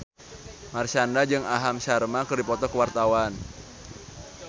Marshanda jeung Aham Sharma keur dipoto ku wartawan